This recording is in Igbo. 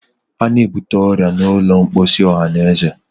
a na-ebute ọrịa n'ụlọ mposi ọhanaeze.